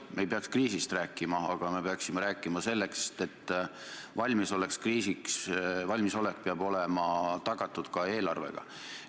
Me ei peaks kriisist rääkima, aga me peaksime rääkima sellest, et valmisolek kriisiks peab olema tagatud ka eelarvega.